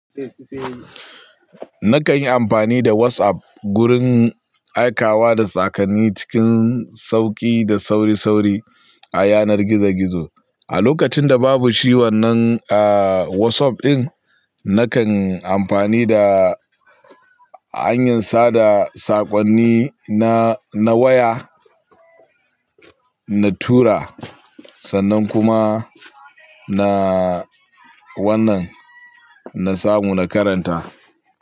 Nakan yi amfani da WhatsApp gurin aikawa da sakonni cikin sauƙi da sauri-sauri a yanar gizo-gizo. A lokacin da babu shi wannan a WhatsApp din, nakan amfani da hanyar sada saƙonni na na waya, na tura sannan kuma na wannan, na samu na karanta.